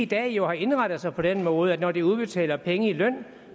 dag jo indrettet sig på den måde at når de udbetaler penge i løn